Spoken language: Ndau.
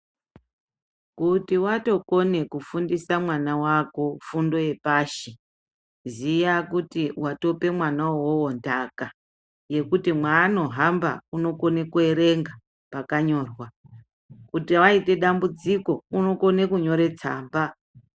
Kuti watokone kufundisa mwana wako fundo yepashi, ziya kuti watope mwana uwowo nthaka, yekuti mwaanohamba, unokone kuerenga mwakanyora, kuti waite dambudziko, unokone kunyore tsamba.